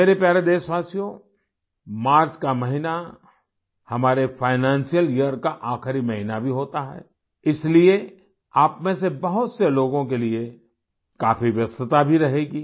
मेरे प्यारे देशवासियो मार्च का महीना हमारे फाइनेंशियल यियर का आखिरी महीना भी होता है इसलिए आप में से बहुत से लोगों के लिए काफी व्यस्तता भी रहेगी